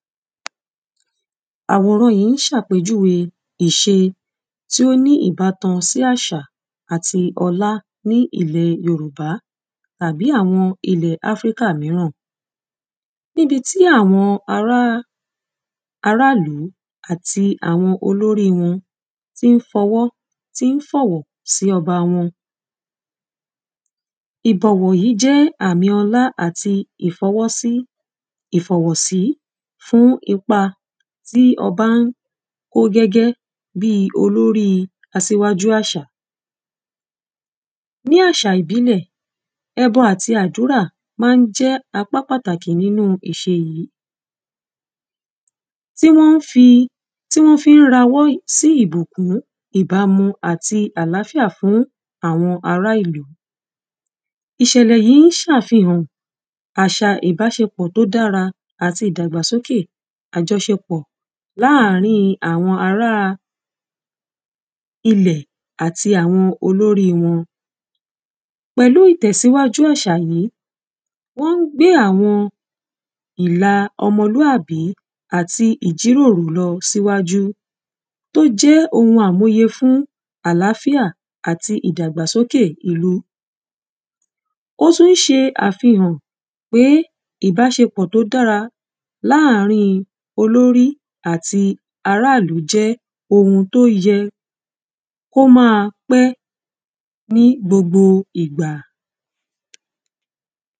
Àwòran yí ń ṣàpèjúwe iṣe tí ó ní ìbátan sí àṣà àti ọlá ní ilẹ̀ Yorùbá tàbí àwọn ilẹ Africa míràn. Níbi tí àwọn ará arálú àti àwọn olórí wọn tí í fọwọ́ tí ń fọ̀wọ̀ sí ọba wọn. Ìbọ̀wọ̀ yí jẹ́ àmi ọlá àtì ìfọwọ́sí ìfọ̀wọ̀sí fún ipa tí ọba ń kó gẹ́gẹ́ bíi olórí asíwájú àṣà. Ní àṣà ìbílẹ̀, ẹbọ àyi àdúrà má ń jẹ́ apá pàtàkì nínú ìṣe yí. Tí wọ́n ń fi tí wọ́n fi ń rawọ́ sí ìbùkún, ìbámu àti àlàfíà fún àwọn ará ìlú. Ìṣẹ̀lẹ̀ yí ń ṣàfihàn àṣà ìbáṣepọ̀ tó dára àti ìdàgbàsókè àjọṣepọ̀ láàrín àwọn ará ilẹ̀ àti àwọn olorí wọn. Pẹ̀lú ìtẹ̀síwájú àṣà yí, wọ́n ń gbé àwọn ìla ọmọlúàbí àti ìjíròrò lọ síwájú. Tó jẹ́ ohun àmúye fún àláfíà àti ìdàgbàsókè ìlú. Ó tún ń ṣe àfihàn pé ìbáṣepọ̀ tó dára láàrin olórí àti ará ìlú jẹ́ ohun tó yẹ. Ó má a pẹ́ ní gbogbo ìgbà.